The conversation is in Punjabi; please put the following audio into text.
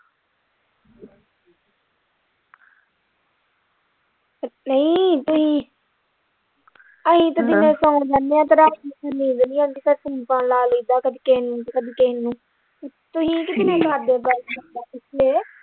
ਨਹੀਂ ਤੁਸੀਂ ਅਸੀਂ ਤੇ ਦਿਨੇ ਸੋ ਜਾਣੇ ਤੇ ਰਾਤੀ ਫੇਰ ਨੀਂਦ ਨਹੀਂ ਆਉਂਦੀ ਫੇਰ phone ਫਾਨ ਲਾ ਲਈਦਾ ਕਦੀ ਕਿਸੇ ਨੂੰ ਤੇ ਕਦੀ ਕਿਸੇ ਨੂੰ ਤੁਸੀਂ ਕੀ ਕਰਦੇ ਹੋ ਬੰਦਾ ਪੁੱਛੇ।